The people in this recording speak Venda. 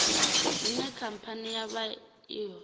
hune khamphani ya vha i